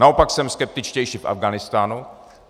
Naopak jsem skeptičtější v Afghánistánu.